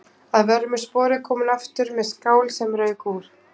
Að vörmu spori kom hún aftur með skál sem rauk úr.